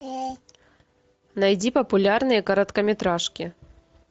найди популярные короткометражки